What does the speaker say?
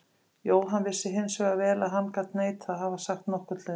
Jóhann vissi hins vegar vel að hann gat neitað að hafa sagt nokkurn hlut.